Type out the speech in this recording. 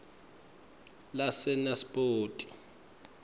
lasenaspoti